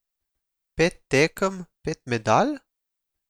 Pet tekem, pet medalj?